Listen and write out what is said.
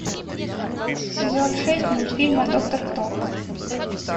сезон шесть мультфильма доктор кто